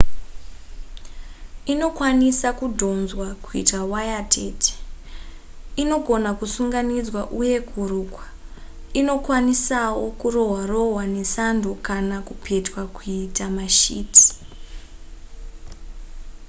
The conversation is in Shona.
inokwanisa kudhonzwa kuitwa waya tete inogona kusunganidza uye kurukwa inokwanisawo kurohwa rohwa nesando kana kupetwa kuita mashiti